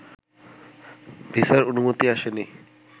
ভিসার অনুমতি আসেনি